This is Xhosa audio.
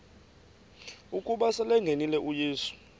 ukuba selengenile uyesu